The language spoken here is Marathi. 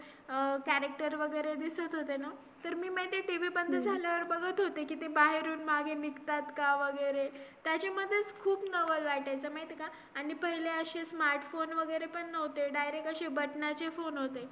अह Character वगैरे दिसत होते ना तर ते मी माहिती TV बंद झाल्यावर बघत होते की ते बाहेरून मागे निघतात का वगैरे त्याच्यामध्येच खूप नवल वाटायचा माहिती का आणि पहिले अशे Smartphone वगैरे पण नव्हते direct अशे बटणाचे Phone होते